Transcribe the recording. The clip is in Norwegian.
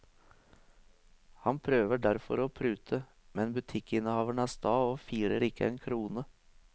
Han prøver derfor å prute, men butikkinnehaveren er sta og firer ikke en krone.